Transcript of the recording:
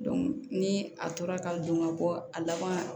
ni a tora ka don ka bɔ a laban na